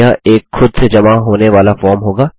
यह एक खुद से जमा होने वाला फॉर्म होगा